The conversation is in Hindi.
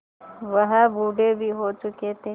वह बूढ़े भी हो चुके थे